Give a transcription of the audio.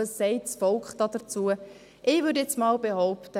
«Was sagt das Volk dazu?» – Ich würde jetzt mal Folgendes behaupten: